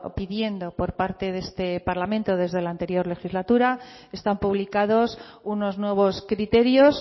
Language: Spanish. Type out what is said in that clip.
pidiendo por parte de este parlamento desde la anterior legislatura están publicados unos nuevos criterios